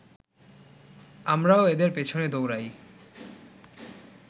আমরাও এদের পেছনে দৌড়াই